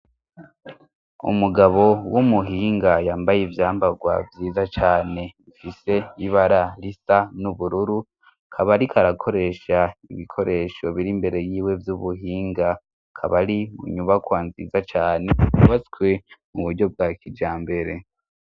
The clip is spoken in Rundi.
Umugabo w'umuhinga yambaye ibyambagwa byiza cane mfise ibara risa n'ubururu akaba arika akoresha ibikoresho biri mbere y'iwe vy'ubuhinga kabari unyubakwa nziza yane yubatswe mu buryo bwa kijambere.